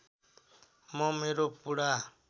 म मेरो पुरा